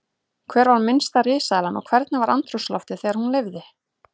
Hver var minnsta risaeðlan og hvernig var andrúmsloftið þegar hún lifði?